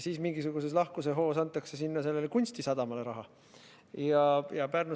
Siis mingisuguses lahkusehoos antakse sinna kunstisadamale raha.